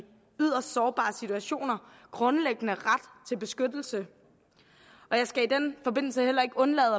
yderst sårbare situationer grundlæggende ret til beskyttelse jeg skal i den forbindelse heller ikke undlade